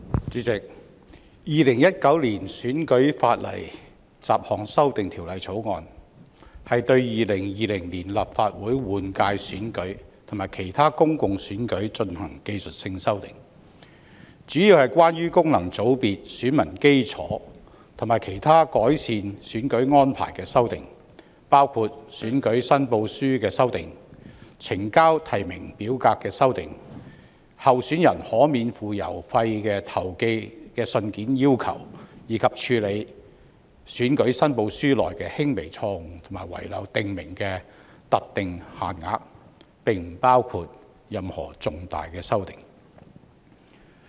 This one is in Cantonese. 主席，《2019年選舉法例條例草案》是對2020年立法會換屆選舉及其他公共選舉進行技術性修訂，主要是關於功能界別選民基礎及其他改善選舉安排的修訂，包括選舉申報書的修訂、呈交提名表格的修訂、候選人可免付郵資投寄信件的尺碼規定，以及處理選舉申報書內的輕微錯誤或遺漏訂明的特定限額，並不包括任何重大修訂。